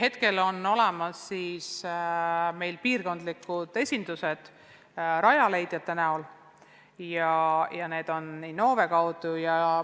Praegu on olemas piirkondlikud Rajaleidja esindused, mis tegutsevad Innove kaudu.